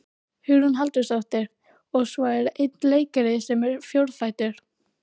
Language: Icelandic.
Hugrún Halldórsdóttir: Og svo er einn leikari sem er fjórfættur?